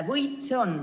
Võit on seegi.